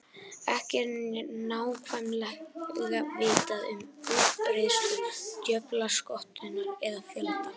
Ekki er nákvæmlega vitað um útbreiðslu djöflaskötunnar eða fjölda.